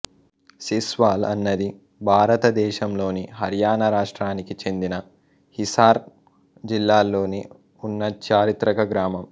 సిస్వాల్ అన్నది భారతదేశంలోని హర్యానా రాష్ట్రానికి చెందిన హిసార్ జిల్లాలోని ఉన్న చారిత్రక గ్రామం